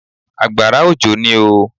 Àgbàrá òjò ní oo.